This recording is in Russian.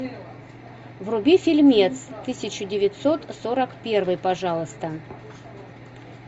вруби фильмец тысяча девятьсот сорок первый пожалуйста